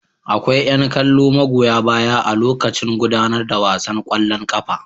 Akwai yan kallo magoya baya a lokaci gudanar da wasan kwallon kafa.